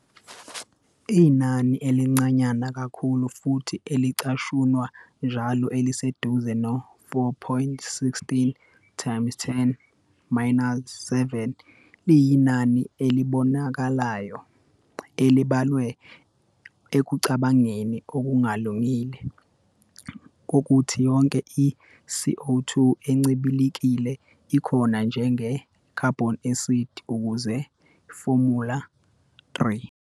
Inani elincanyana kakhulu futhi elicashunwa njalo eliseduze no- 4.16 times 10 minus 7 liyinani "elibonakalayo" elibalwe ekucabangeni, okungalungile, kokuthi yonke i-CO 2 encibilikile ikhona njenge-carbonic acid, ukuze formula_3.